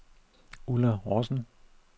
Ulla Rossen